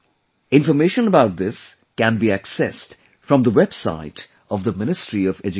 Information about this can be accessed from the website of the Ministry of Education